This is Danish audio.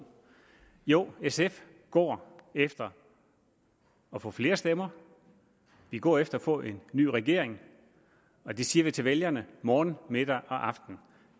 jo sf går efter at få flere stemmer vi går efter at få en ny regering og det siger vi til vælgerne morgen middag og aften